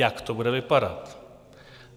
Jak to bude vypadat?